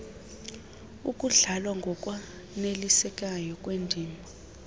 ukudlalwa ngokwanelisekayo kwendima